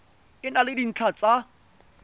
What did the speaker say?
e na le dintlha tsa